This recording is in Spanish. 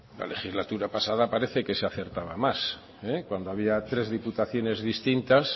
la legislatura pasada parece que se acertaba más cuando había tres diputaciones distintas